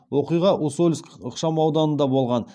оқиға усольск ықшамауданында болған